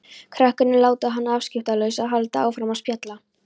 Krakkarnir láta hana afskiptalausa og halda áfram að spjalla.